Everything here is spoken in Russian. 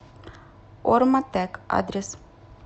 орматек адрес